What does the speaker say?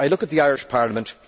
I look at the Irish Parliament.